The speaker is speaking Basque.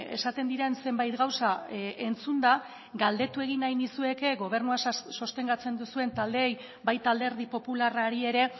esaten diren zenbait gauza entzunda galdetu egin nahi nizueke gobernua sostengatzen duzuen taldeei baita alderdi popularrari ere